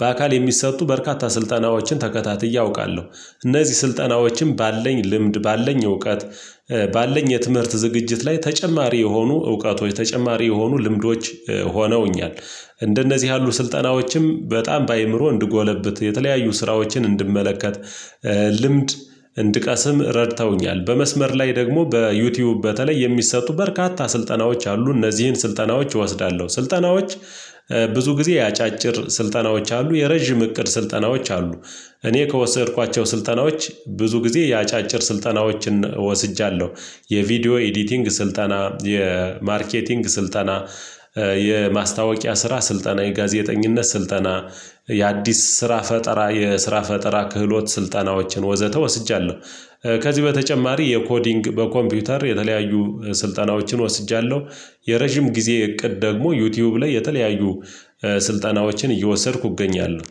በአካል የሚሰጡ በርካታ ስልጠናዎችን ተከታትዬ አውቃለሁ። እነዚህ ስልጠናዎችም ባለኝ ልምድ ባለኝ እውቀት። ባለን የትምህርት ዝግጅት ላይ ተጨማሪ የሆኑ እውቀቶች ተጨማሪ የሆኑ ልምዶች ሆነውኛል። እንደነዚህ ያሉ ስልጠናዎችም በጣም በአእምሮ እንድጎለብት የተለያዩ ስራዎችን እንድመለከት ልምድ እንድቀስም ረድተውኛል። በመስመር ላይ ደግሞ በዩቲዩብ በተለይ የሚሰጡ በርካታ ስልጠናዎች አሉ። እነዚህን ስልጠናዎች እወስዳለሁ ስልጠናዎች ብዙ ጊዜ ያጫጭር ስልጠናዎች አሉ የረዥም እቅድ ስልጠናዎች አሉ። እኔ ከወሰድኳቸው ስልጠናዎች ብዙ ጊዜ የአጫጭር ስልጠናዎችን ወስጃለሁ። የቪዲዮ ኤዲቲንግ ስልጠና የማርኬቲንግ ስልጠና። የማስታወቂያ ስራ ስልጠና የጋዜጠኝነት ስልጠና። የአዲስ ስራ ፈጠራ የስራ ፈጠራ ክህሎት ስልጠናዎችን ወዘተ ወስጃለሁ። ከዚህ በተጨማሪ የኮዲንግ በኮምፒውተር የተለያዩ ስልጠናዎችን ወስጃለሁ። የረጅም ጊዜ እቅድ ደግሞ ዩቲዩብ ላይ የተለያዩ ስልጠናዎችን እየወሰድኩ እገኛለሁ